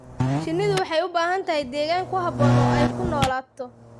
Shinnidu waxay u baahan tahay deegaan ku habboon oo ay ku noolaato.